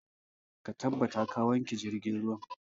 Ka tabbata ka wanke jirgin ruwan!